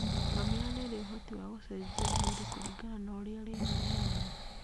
Ngamĩra nĩ ĩrĩ ũhoti wa gũcenjia mwĩrĩ kũringana na ũrĩa rĩera rĩhana.